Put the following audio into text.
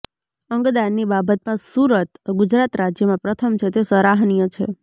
અંગદાનની બાબતમાં સુરત ગુજરાત રાજ્યમાં પ્રથમ છે તે સરાહનીય છે